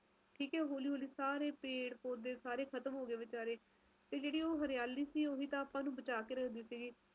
ਘੁੰਮਣਾ ਜਰੁਰ ਚਾਹੀਦਾ ਹਰ ਤਰਾਂ ਦੇ ਮੌਸਮ ਦਾ ਤਜਰਬਾ ਜਰੁਰ ਕਰਨਾ ਬਹੁਤ ਜ਼ਰੁਰੀ ਐ ਓਦੋ ਪਤਾ ਲੱਗਦਾ ਕੇ ਆਪਾ ਕਿੰਨੇ ਕ ਪਾਣੀ ਵਿਚ ਖੜਦੇ ਆ ਅਰੇ ਆਪਣੇ